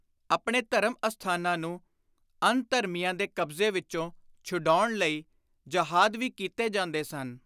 ਆਪਣੇ ਧਰਮ-ਅਸਥਾਨਾਂ ਨੂੰ ਅਨ-ਧਰਮੀਆਂ ਦੇ ਕਬਜ਼ੇ ਵਿਚੋਂ ਛਡਾਉਣ ਲਈ ਜਹਾਦ ਵੀ ਕੀਤੇ ਜਾਂਦੇ ਸਨ।